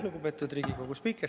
Lugupeetud Riigikogu spiiker!